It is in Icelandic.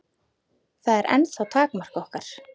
Það er ennþá takmark okkar.